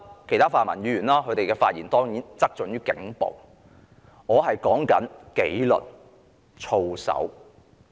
其他泛民議員的發言側重於警暴，而我說的是警隊的紀律、操守。